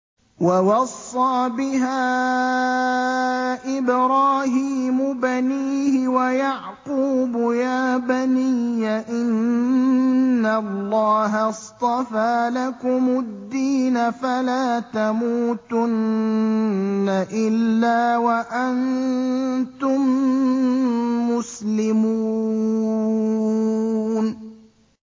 وَوَصَّىٰ بِهَا إِبْرَاهِيمُ بَنِيهِ وَيَعْقُوبُ يَا بَنِيَّ إِنَّ اللَّهَ اصْطَفَىٰ لَكُمُ الدِّينَ فَلَا تَمُوتُنَّ إِلَّا وَأَنتُم مُّسْلِمُونَ